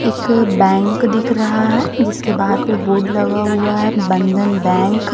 एक बैंक दिख रहा है जिसके बाहर पे बोर्ड लगा हुआ है बंधन बैंक ।